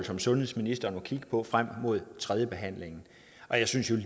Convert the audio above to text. som sundhedsministeren må kigge på frem mod tredjebehandlingen jeg synes jo at